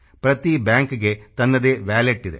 ಪ್ರತಿ ಬ್ಯಾಂಕ್ಗೆ ತನ್ನದೇ ವಾಲೆಟ್ ಇದೆ